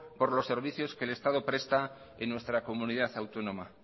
por los servicios que el estado presta en nuestra comunidad autónoma